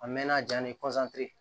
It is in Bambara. A mɛnna jaa ni